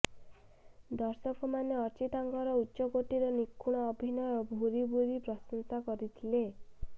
ଦର୍ଶକମାନେ ଅର୍ଚ୍ଚିତାଙ୍କର ଉଚ୍ଚକୋଟିର ନିଖୁଣ ଅଭିନୟକୁ ଭୁରିଭୁରି ପ୍ରଶଂସା କରିଥିଲେ